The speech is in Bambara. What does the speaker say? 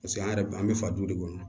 Paseke an yɛrɛ an bɛ fa duw de kɔnɔ